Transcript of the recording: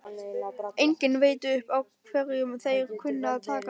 Enginn veit upp á hverju þeir kunna að taka!